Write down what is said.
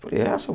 Falei, é, Seu.